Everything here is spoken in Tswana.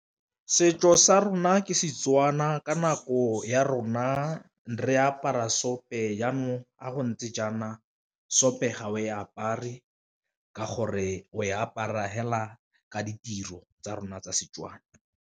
Setso sa rona ke Setswana ka nako ya rona re apara seope, jaanong ga go ntse jaana seope ga o e apare ka gore o e apara fela ka ditiro tsa rona tsa Setswana.